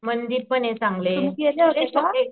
मंदिरपने चांगले